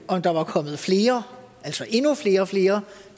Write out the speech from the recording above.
om der var kommet flere altså endnu flere flere